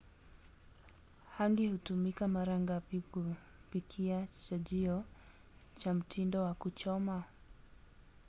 hangi hutumika mara nyingi kupikia chajio cha mtindo wa kuchoma